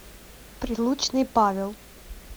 прилучный павел